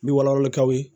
N bɛ wala wala kaw ye